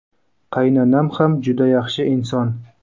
Qaynanam ham juda yaxshi inson.